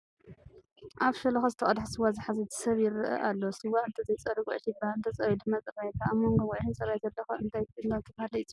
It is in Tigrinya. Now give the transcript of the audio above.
ኣብ ሸሎኻ ዝተቐድሐ ስዋ ዝሓዘ ሰብ ይርአ ኣሎ፡፡ ስዋ እንተዘይፀርዩ ጉዕሽ ይበሃል፡፡ እንተፀርዩ ድማ ፅራይ ይበሃል፡፡ ኣብ መንጐ ጉዕሽን ፅራይን ዘሎ ኸ እንታይ እናተባህለ ይፅዋዕ?